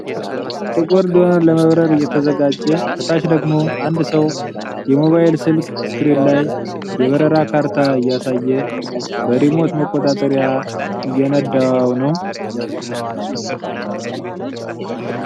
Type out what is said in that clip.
ጥቁር ድሮን ለመብረረ እየተዘጋጀ ። ከታች ደግሞ አንድ ሰው የሞባይል ስልክ ስክሪን ላይ የበረራ ካርታ እያሳየ በሪሞት መቆጣጠሪያ እየነዳው ነው።